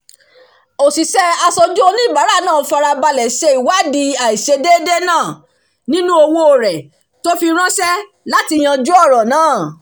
òṣìṣẹ́ aṣojú oníbàárà farabalẹ̀ ṣe ìwádìí àìṣedéédé náà nínú owó rẹ̀ tó fi ránṣẹ́ láti yanjú ọ̀rọ̀ náà